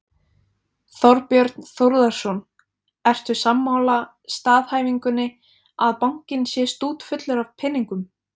Þorbjörn Þórðarson: Ertu sammála staðhæfingunni að bankinn sé stútfullur af peningum?